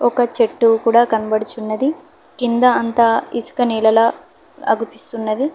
ఒక చెట్టు కూడా కనబడుచున్నది కింద అంత ఇసుక నేలల ఆగుపిస్తున్నది